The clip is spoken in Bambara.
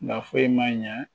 Nka foyi man ɲɛ